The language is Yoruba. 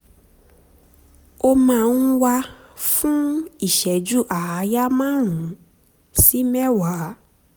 ó máa ń wà fún ìṣẹ́jú àáyá márùn-ún sí mẹ́wàá